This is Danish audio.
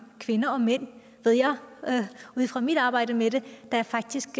kvinder og mænd ved jeg fra mit arbejde med det der faktisk